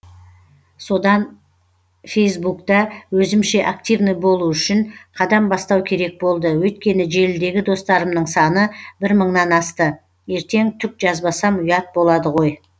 содан фейсбукта өзімше активный болу үшін қадам бастау керек болды өйткені желідегі достарымның саны бір мыңнан асты ертең түк жазбасам ұят болады ғой